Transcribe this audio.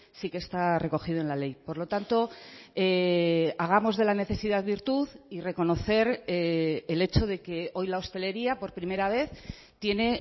sí que está recogido en la ley por lo tanto hagamos de la necesidad virtud y reconocer el hecho de que hoy la hostelería por primera vez tiene